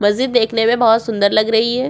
मस्जिद देखने में बहुत सुंदर लग रही है।